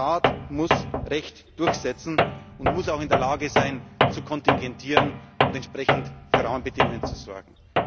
Der Staat muss Recht durchsetzen und muss auch in der Lage sein, zu kontingentieren und entsprechend für Rahmenbedingungen zu sorgen.